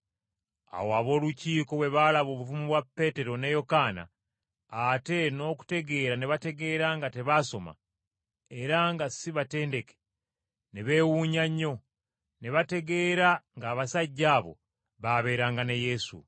Awo ab’Olukiiko bwe baalaba obuvumu bwa Peetero ne Yokaana, ate n’okutegeera ne bategeera nga tebaasoma, era nga si batendeke, ne beewuunya nnyo, ne bategeera ng’abasajja abo baabeeranga ne Yesu.